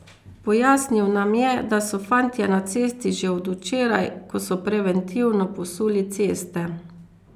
Pojasnil nam je, da so fantje na cesti že od včeraj, ko so preventivno posuli ceste.